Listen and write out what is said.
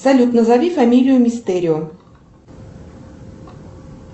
салют назови фамилию мистерио